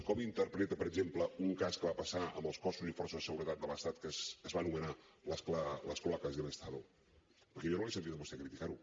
com interpreta per exemple un cas que va passar amb els cossos i forces de seguretat de l’estat que es va anomenar las cloacas del estado perquè jo no l’he sentit a vostè criticar ho